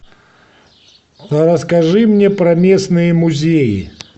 расскажи мне про местные музеи